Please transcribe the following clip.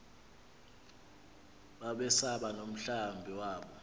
babesaba nomhlambi wabo